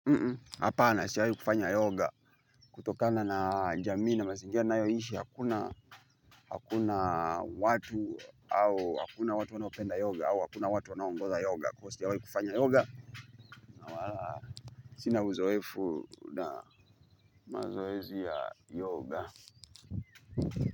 Mm, hapana sijawai kufanya yoga. Kutokana na jamii na mazingira nayoishi, hakuna, hakuna watu au, hakuna watu wanaopenda yoga, au hakuna watu wanaongoza yoga. Kwa hiyo sijawai kufanya yoga, na wala. Sina uzoefu na mazoezi ya yoga.